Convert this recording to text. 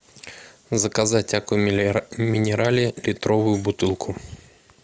заказать аква минерале литровую бутылку